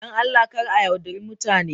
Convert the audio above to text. Don Allah kar a yaudari mutane.